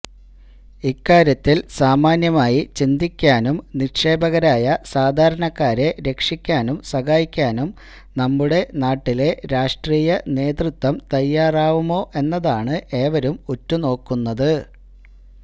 ഇക്കാര്യത്തിൽ സാമാന്യമായി ചിന്തിക്കാനും നിക്ഷേപകരായ സാധാരണക്കാരെ രക്ഷിക്കാനും സഹായിക്കാനും നമ്മുടെ നാട്ടിലെ രാഷ്ട്രീയ നേതൃത്വം തയ്യാറാവുമോ എന്നതാണ് ഏവരും ഉറ്റുനോക്കുന്നത്